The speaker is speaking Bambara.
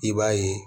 I b'a ye